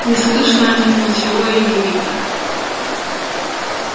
не слышно о них ничего и не видно